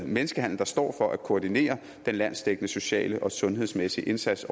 menneskehandel der står for at koordinere den landsdækkende sociale og sundhedsmæssige indsats